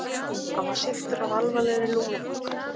Hann var sýktur af alvarlegri lungnabólgu.